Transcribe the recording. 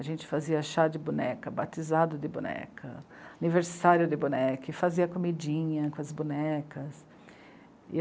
A gente fazia chá de boneca, batizado de boneca, aniversário de boneca, e fazia comidinha com as bonecas.